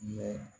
Yɔrɔ